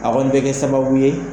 A kɔni bɛ kɛ sababu ye.